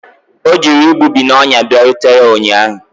O jiri igbubi na ọnya bịarutere ụnyahụ